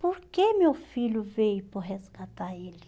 Por que meu filho veio para eu resgatar ele?